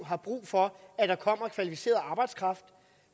har brug for at der kommer kvalificeret arbejdskraft